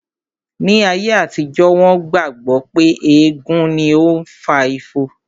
Ní ayé àtijó, wón gbà gbọ́ pé ègún ni ó fa ifo